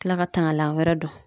Kila ka tangalan wɛrɛ don